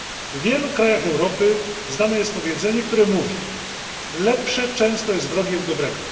W wielu krajach Europy znane jest powiedzenie, które mówi lepsze często jest wrogiem dobrego.